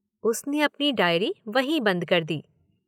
उसने अपनी डायरी वहीं बंद कर दी।